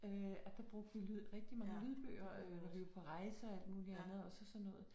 Øh at der brugte vi lyd rigtig mange lydbøger øh når vi var på rejse og alt muligt andet og så sådan noget